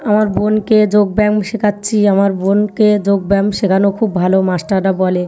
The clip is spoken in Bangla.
আমার বোনকে যোগ ব্যায়াম শেখাচ্ছি। আমার বোনকে যোগ ব্যায়াম শেখানো খুব ভালো মাস্টার -রা বলে ।